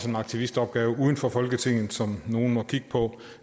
en aktivistopgave uden for folketinget som nogle må kigge på